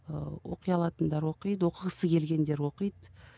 ыыы оқи алатындар оқиды оқығысы келгендер оқиды